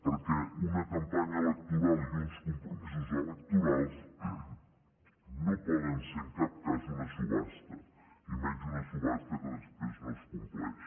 perquè una campanya electoral i uns compromisos electorals no poden ser en cap cas una subhasta i menys una subhasta que després no es compleix